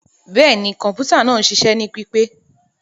Bẹẹni, kọǹpútà naa ń ṣiṣẹ ni pipe.